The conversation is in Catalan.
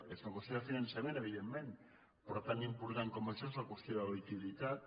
és una qüestió de finançament evidentment però tan important com això és la qüestió de la liquiditat